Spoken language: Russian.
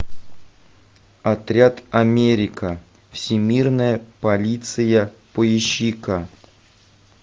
отряд америка всемирная полиция поищи ка